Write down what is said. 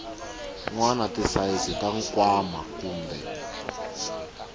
wana tisayizi ta nkwama kumbe